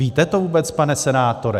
Víte to vůbec, pane senátore?